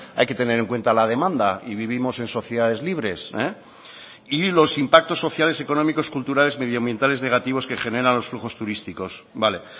hay que tener en cuenta la demanda y vivimos en sociedades libres y los impactos sociales económicos culturales medioambientales negativos que generan los flujos turísticos vale